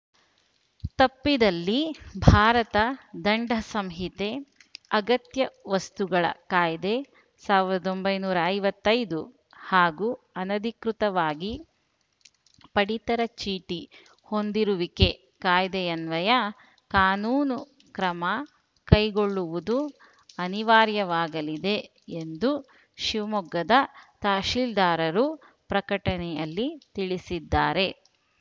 ತಪ್ಪಿದಲ್ಲಿ ಭಾರತ ದಂಡಸಂಹಿತೆ ಅಗತ್ಯ ವಸ್ತುಗಳ ಕಾಯ್ದೆ ಸಾವಿರದ ಒಂಬೈನೂರ ಐವತ್ತೈದು ಹಾಗೂ ಅನಧಿಕೃತವಾಗಿ ಪಡಿತರ ಚೀಟಿ ಹೊಂದಿರುವಿಕೆ ಕಾಯ್ದೆಯನ್ವಯ ಕಾನೂನು ಕ್ರಮ ಕೈಗೊಳ್ಳುವುದು ಅನಿವಾರ್ಯವಾಗಲಿದೆ ಎಂದು ಶಿವಮೊಗ್ಗದ ತಹಸೀಲ್ದಾರರು ಪ್ರಕಟಣೆಯಲ್ಲಿ ತಿಳಿಸಿದ್ದಾರೆ